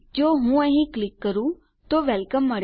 જો હું અહીં ક્લિક કરું આપણને વેલકમ